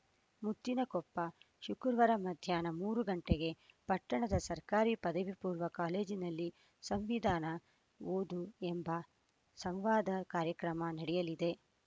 ಮುತ್ತಿನಕೊಪ್ಪ ಶುಕ್ರವಾರ ಮಧ್ಯಾಹ್ನ ಮೂರು ಗಂಟೆಗೆ ಪಟ್ಟಣದ ಸರ್ಕಾರಿ ಪದವಿಪೂರ್ವ ಕಾಲೇಜಿನಲ್ಲಿ ಸಂವಿಧಾನ ಓದು ಎಂಬ ಸಂವಾದ ಕಾರ್ಯಕ್ರಮ ನಡೆಯಲಿದೆ